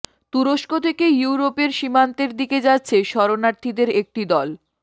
তুরস্ক থেকে ইউরোপের সীমান্তের দিকে যাচ্ছে শরণার্থীদের একটি দল